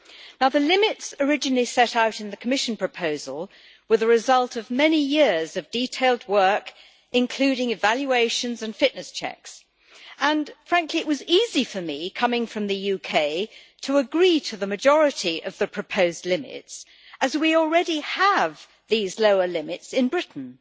Now the limits originally set out in the Commission proposal were the result of many years of detailed work including evaluations and fitness checks, and frankly it was easy for me, coming from the UK, to agree to the majority of the proposed limits, as we already have these lower limits in Britain.